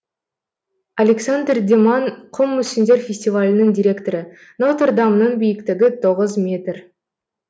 александр деман құм мүсіндер фестивалінің директоры нотр дамның биіктігі тоғыз метр